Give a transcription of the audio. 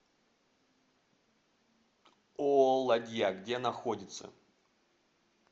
ооо ладья где находится